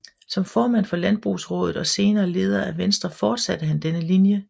Som formand for Landbrugsraadet og senere leder af Venstre fortsatte han denne linje